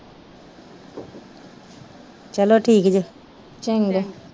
ਚਲੋ ਠੀਕ ਜੇ ਚੰਗਾ